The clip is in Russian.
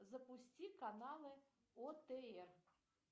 запусти каналы отр